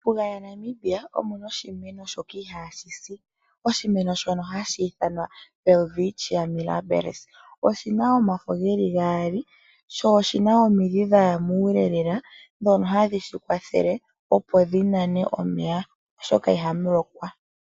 Mombuga yaNamibia omuna oshimeno shoka ihaashi si oshimeno shono hashi ithanwa Welwitschia Mirabilis. Oshina omafo geli gaali sho oshina omidhi dhaya muule lela ndhono hadhi shi kwathele opo dhi nane omeya oshoka ihamu lokwa.